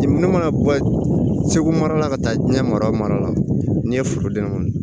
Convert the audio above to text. Minnu mana bɔ segu mara la ka taa diɲɛ mara mara la n'i ye foroden wolo